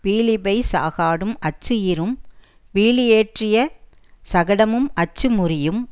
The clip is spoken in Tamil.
பீலிபெய் சாகாடும் அச்சு இறும் பீலியேற்றிய சகடமும் அச்சு முரியும்